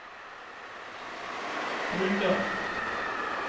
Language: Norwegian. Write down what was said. grunnlag